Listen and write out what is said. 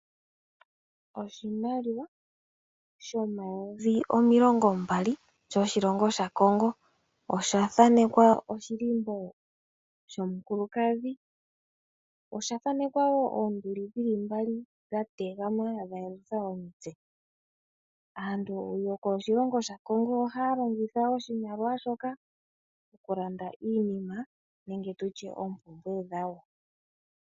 Oshimaliwa shomayovi omilongo mbali sho shilongo shaCongo oshathanekwa oshilimbo shomukulukadho noshathanekwa oonduli dhili mbali dha tegama dha yelutha omitse. Aantu yokoshilongo shaCongo ohaya longitha oshimaliwa shoka okulanda iinima nenge tutye oompumbwe dhawo.